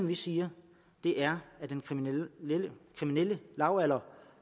vi siger er at den kriminelle lavalder